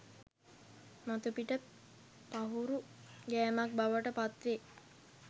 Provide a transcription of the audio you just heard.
මතුපිට පහුරු ගෑමක් බවට පත් වේ